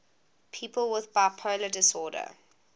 people with bipolar disorder